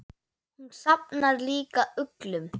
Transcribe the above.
Hún safnar líka uglum.